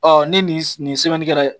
Ɔ ni nin nin semɛni kɛra